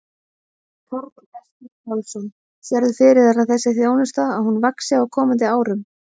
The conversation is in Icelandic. Karl Eskil Pálsson: Sérðu fyrir þér að þessi þjónusta að hún vaxi á komandi árum?